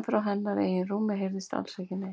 en frá hennar eigin rúmi heyrðist alls ekki neitt.